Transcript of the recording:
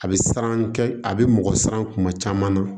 A bɛ siran kɛ a bɛ mɔgɔ siran kuma caman na